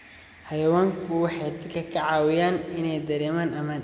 Xayawaanku waxay dadka ka caawiyaan inay dareemaan ammaan.